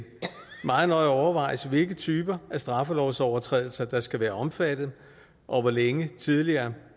meget nøje overvejes hvilke typer af straffelovsovertrædelser der skal være omfattet og hvor længe tidligere